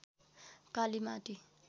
Kalimati